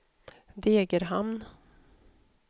Degerhamn